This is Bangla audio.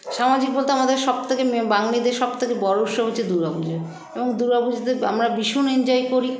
সামাজিক বলতে আমাদের সবথেক মেম বাঙালিদের সবথেকে বড়ো উৎসব হচ্ছে দূর্গাপূজো এবং দূর্গাপূজোতে আমরা ভীষণ enjoy করি